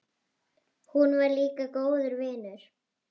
Hún var líka góður vinur.